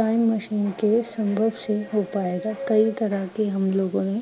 time machine ਕੇ ਸੰਭਵ ਸੇ ਹੋਪਾਏਗਾ। ਕਈ ਤਰਹਾਂ ਕੇ ਹਮ ਲੋਗੋਂ ਨੇ